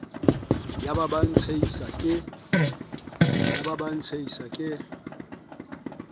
ya ba ya ntshehisa ke